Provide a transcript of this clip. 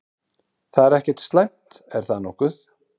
Það er ekkert slæmt, er það nokkuð?